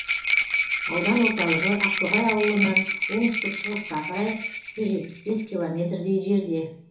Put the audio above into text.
аудан орталығы ақтоғай ауылынан оңтүстік шығысқа қарай жүз жетпіс бес километрдей жерде